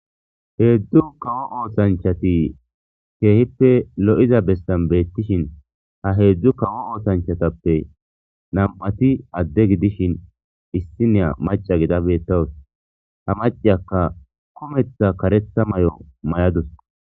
heedzdu kawo ootshanchati keehippe lo7iza bestan beettishin ha heedzdzu kawo oothanchatappe nam7ati adde gidishin issiniya maca gida bettawus ha maceyakka kometha karetha may7o mayadus